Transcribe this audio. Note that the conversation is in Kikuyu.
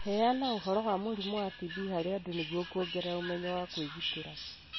Heana ũhoro wa mũrimũ wa TB harĩ andũ nĩguo kuongerera ũmenyo wa kwĩgitĩra.